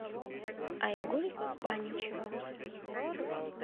айгуль паничева